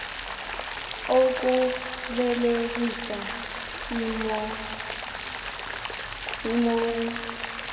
okubelekisa ii mou